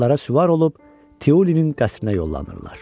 Atlara süvar olub Tiulinin qəsrinə yollanırlar.